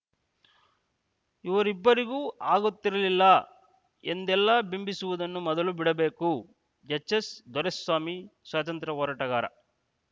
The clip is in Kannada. ಇವರಿಬ್ಬರಿಗೂ ಆಗುತ್ತಿರಲಿಲ್ಲ ಎಂದೆಲ್ಲ ಬಿಂಬಿಸುವುದನ್ನು ಮೊದಲು ಬಿಡಬೇಕು ಎಚ್‌ಎಸ್‌ದೊರೆಸ್ವಾಮಿ ಸ್ವಾತಂತ್ರ್ಯ ಹೋರಾಟಗಾರ